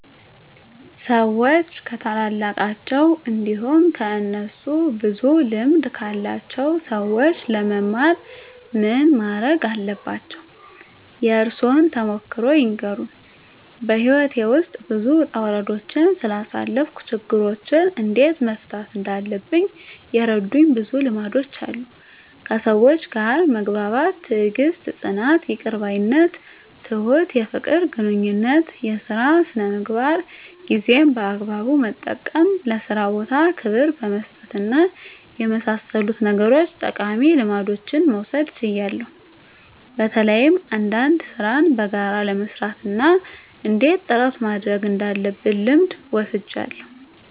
ሰዎች ከታላላቃቸው እንዲሁም ከእነሱ ብዙ ልምድ ካላቸው ሰዎች ለመማር ምን ማረግ አለባቸው? የእርሶን ተሞክሮ ይንገሩን? *በሕይወቴ ውስጥ ብዙ ውጣ ውረዶችን ስላሳለፍኩ፣ ችግሮችን እንዴት መፍታት እንዳለብኝ የረዱኝ ብዙ ልምዶች አሉ፤ ከሰዎች ጋር መግባባት፣ ትዕግስት፣ ጽናት፣ ይቅር ባይነት፣ ትሁት፣ የፍቅር ግንኙነት፣ የሥራ ሥነ ምግባር፣ ጊዜን በአግባቡ መጠቀም፣ ለሥራ ቦታ ክብር በመስጠትና በመሳሰሉት ነገሮች ጠቃሚ ልምዶችን መውሰድ ችያለሁ። በተለይ አንዳንድ ሥራን በጋራ ለመሥራት እና እንዴት ጥረት ማድረግ እንዳለብ ልምድ ወስጃለሁ።